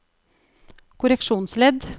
korreksjonsledd